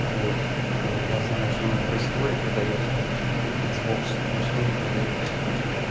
вот а я знаю что она в ресторе продаётся там какие-то иксбокс в ресторе продаётся